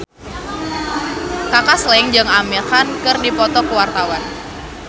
Kaka Slank jeung Amir Khan keur dipoto ku wartawan